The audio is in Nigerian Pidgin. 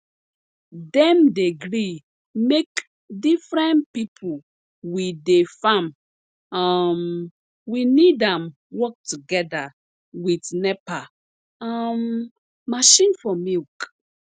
dem dey gree make diffren pipo we dey farm um we need am work togeda wit nepa um machine for milk